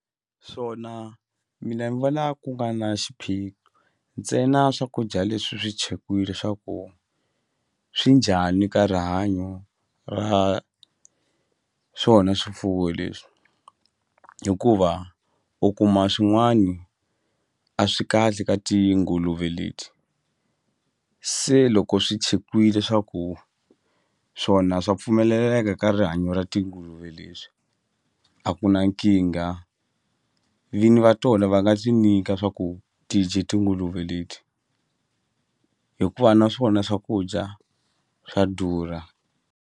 Swona mina ni vona ku nga na xiphiqo ntsena swakudya leswi swi chekiwile swa ku swi njhani ka rihanyo ra swona swifuwo leswi hikuva u kuma swin'wani a swi kahle ka tinguluve leti se loko swi chekiwile swa ku swona swa pfumeleleka ka rihanyo ra tinguluve leswi a ku na nkingha vinyi va tona va nga swi nyika swa ku ti dye tinguluve leti hikuva na swona swakudya swa durha.